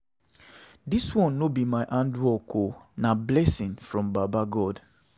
Dis one no be my hard work o, na big blessing from baba God.